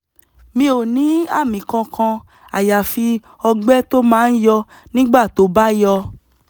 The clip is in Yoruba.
mi ò ní àmì kankan àyàfi ọgbẹ́ tó máa ń yọ nígbà tó bá yọ